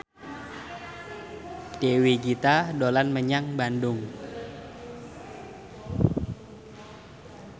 Dewi Gita dolan menyang Bandung